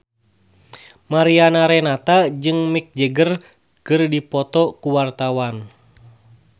Mariana Renata jeung Mick Jagger keur dipoto ku wartawan